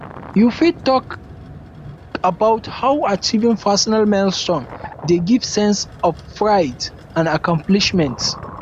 you fit um talk about how achieving personal milestones dey give sense of um pride and um accomplishment